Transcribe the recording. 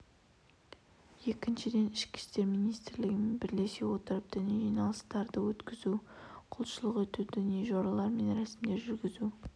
екіншіден ішкі істер министрлігімен бірлесе отырып діни жиналыстарды өткізу құлшылық ету діни жоралар мен рәсімдер жүргізу